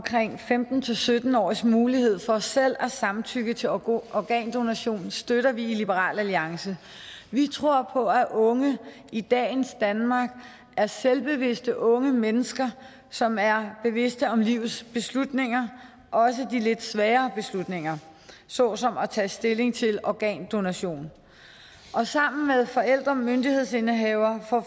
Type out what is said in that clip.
femten til sytten årige s mulighed for selv at give samtykke til organdonation støtter vi i liberal alliance vi tror på at unge i dagens danmark er selvbevidste unge mennesker som er bevidste om livets beslutninger også de lidt svære beslutninger såsom at tage stilling til organdonation sammen med forældremyndighedsindehaver får